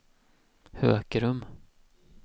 Hökerum